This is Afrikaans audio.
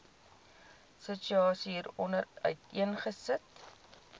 situasie hieronder uiteengesit